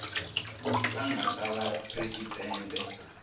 a nga ta va presidente